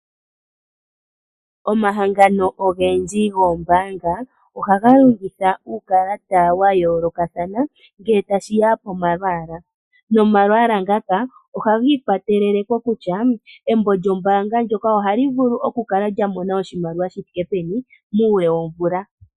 Omahangano ogendji goombaanga ohaga longitha uukalata wa yoolokathana ngele tashiya pomalwaala . Omalwaala ohaga ga ikwatele kokutya embo lyombaanga ndyoka ohali vulu okukala lya mona oshimaliwa shi thike peni muule womvula.